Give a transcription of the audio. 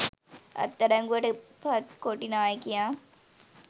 අත්අඩංගුවට පත් කොටි නායකයා